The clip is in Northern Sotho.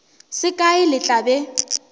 se kae le tla be